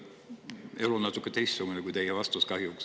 Elu on kahjuks natuke teistsugune kui teie vastus.